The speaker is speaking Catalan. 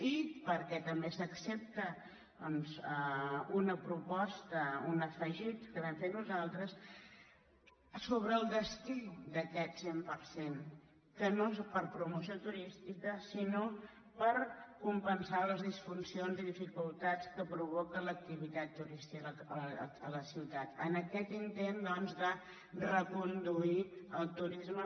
i per·què també s’accepta una proposta un afegit que vam fer nosaltres sobre el destí d’aquest cent per cent que no és per a promoció turística sinó per compensar les disfuncions i dificultats que provoca l’activitat turísti·ca a la ciutat en aquest intent doncs de reconduir el turisme